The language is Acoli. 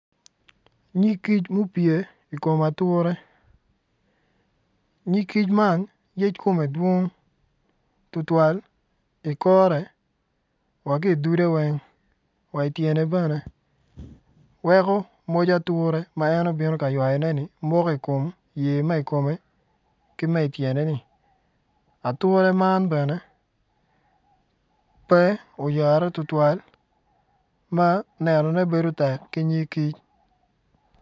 Nyig kic ma opye i kom atura nyig kic man yec kome dwong tutwal i kore wa ki i dude ki tyene weng weko moc ature ma en obino ka ywayone moko i kome ki tyene ature man ben pe oyare tutwal ma enone bedo tek ki ntig kic.